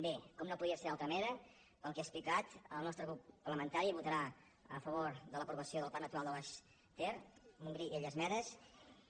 bé com no podria ser d’altra manera pel que he expli·cat el nostre grup parlamentari votarà a favor de l’apro·vació del parc natural del montgrí les illes medes i el baix ter